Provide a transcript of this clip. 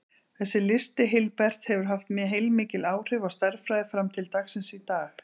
Þessi listi Hilberts hefur haft heilmikil áhrif á stærðfræði fram til dagsins í dag.